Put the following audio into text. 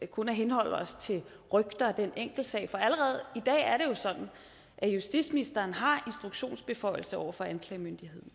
kun at henholde os til rygter og den enkeltsag for allerede i dag er det jo sådan at justitsministeren har instruktionsbeføjelser over for anklagemyndigheden